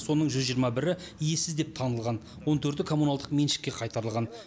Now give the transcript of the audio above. соның жүз жиырма бірі иесіз деп танылған он төрті коммуналдық меншікке қайтарылған